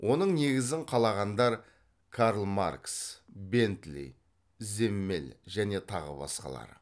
оның негізін қалағандар карл маркс бентли земмель және тағы басқалары